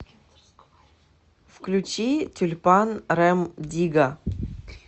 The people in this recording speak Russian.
включи тюльпан рем дигга